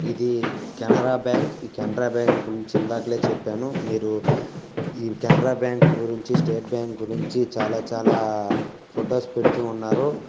ఇది కెనరా బ్యాంక్ ఈ కెనరా బ్యాంక్ గురించి ఇందాలకే చెప్పాను. మీరు ఈ కెనరా బ్యాంకుల గురించి స్టేట్ బ్యాంకుల గురించి చాలా చాలా ఫొటోస్ పెడుతూ ఉన్నారు.